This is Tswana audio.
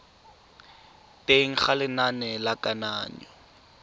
teng ga lenane la kananyo